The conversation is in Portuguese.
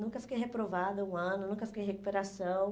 Nunca fiquei reprovada um ano, nunca fiquei em recuperação.